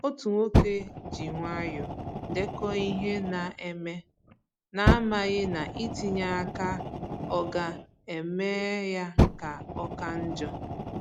Otu nwoke ji nwayọọ dèkò ihe na-eme, na amaghị ná itinye aka ọga eme ya ka ọka njọ.